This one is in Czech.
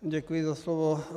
Děkuji za slovo.